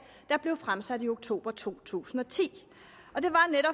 der blev fremsat i oktober to tusind og ti